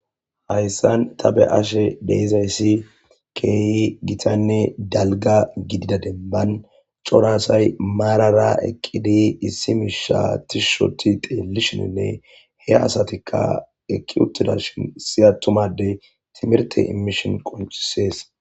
hayssan ta be ashe deizayssi keehi gitanne dalga gidida demban corasay maarara eqqidi issi mishatishoti teelishininne he asatikka ekki uttida shin siya tumadey timirte imishon qoncisees